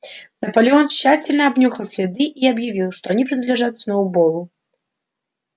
наполеон тщательно обнюхал следы и объявил что они принадлежат сноуболлу